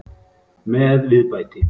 Með viðbæti.